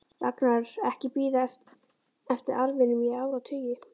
Ragnar ekki bíða eftir arfinum í áratugi.